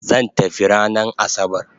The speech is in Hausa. Zan tafi ranan asabar